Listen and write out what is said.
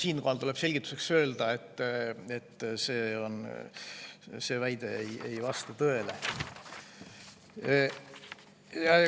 Siinkohal tuleb selgituseks öelda, et see väide ei vasta tõele.